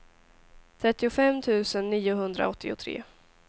trettiofem tusen niohundraåttiotre